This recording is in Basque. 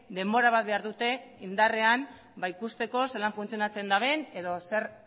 denbora bat behar dute indarrean ikusteko zelan funtzionatzen duten edo zer